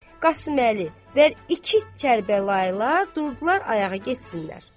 Qasıməli, və iki Kərbəlaylılar durdular ayağa getsinlər.